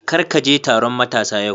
Kar ka je taron matasa yau